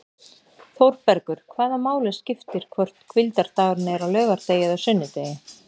ÞÓRBERGUR: Hvaða máli skiptir hvort hvíldardagurinn er á laugardegi eða sunnudegi!